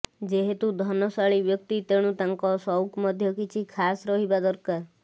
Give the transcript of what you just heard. ଯେହେତୁ ଧନଶାଳୀ ବ୍ୟକ୍ତି ତେଣୁ ତାଙ୍କ ସଉକ ମଧ୍ୟ କିଛି ଖାସ୍ ରହିବା ଦରକାର